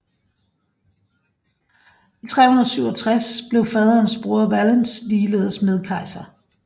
I 367 blev faderens bror Valens ligeledes medkejser